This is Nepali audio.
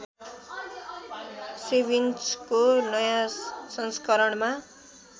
सेन्विचको नयाँ संस्करणमा